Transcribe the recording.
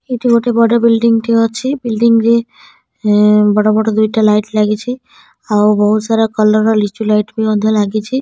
ଏଠି ଗୋଟେ ବଡ ବିଲଡିଂ ଟେ ଅଛି। ବିଲଡିଂ ରେ ଏଁ ବଡ ବଡ଼ ଦୁଇଟା ଲାଇଟ ଲାଗିଛି। ଆଉ ବହୁତସାରା କଲର ର ଲିଚୁ ଲାଇଟ ବି ମଧ୍ୟ ଲାଗିଛି।